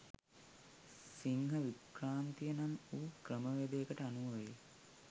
සිංහ වික්‍රාන්තිය නම් වූ ක්‍රමවේදයකට අනුව වේ.